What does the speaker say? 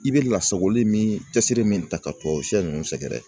I bɛ lasagoli min , cɛsiri min ta ka tɔ siyɛn ninnu sɛgɛrɛ